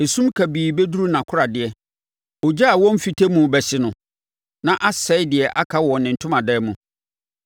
esum kabii bɛduru nʼakoradeɛ. Ogya a wɔmfite mu bɛhye no, na asɛe deɛ aka wɔ ne ntomadan mu.